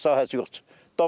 Bələdiyyənin sahəsi yoxdur.